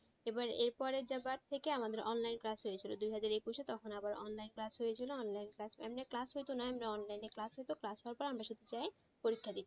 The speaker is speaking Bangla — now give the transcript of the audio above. এবার এর পরেরবার থেকে আমাদের online class হয়েছিল দুহাজার একুশে তখন আবার online class হয়েছিলো online এমনি class হতোনা এমনি online এ class হইত class হওয়ার পর গিয়ে আমরা শুধু পরীক্ষা দিতাম।